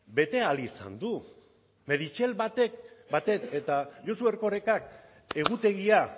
bete ahal izan du meritxell batet eta josu erkorekak egutegia